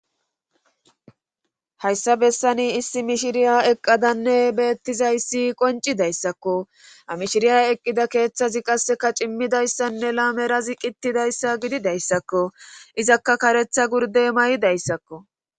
hayssa bessani issi mishiriya eqqadanne beettizayssi qoncidayssakko amishiriya eqqida keeththazi qasseka cimmidayssanne laamerazi qittidayssa gidi dayssakko izakka karetha gurdey may7dayssakko